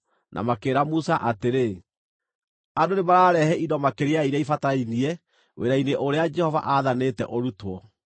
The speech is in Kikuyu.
na makĩĩra Musa atĩrĩ, “Andũ nĩmararehe indo makĩria ya iria ibatarainie wĩra-inĩ ũrĩa Jehova aathanĩte ũrutwo.”